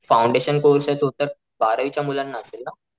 Foundation course तो तर बारावीच्या मुलांना असेल ना?